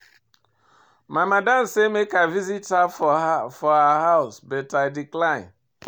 My madam sey make I visit her for her house but I decline.